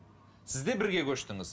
сіз де бірге көштіңіз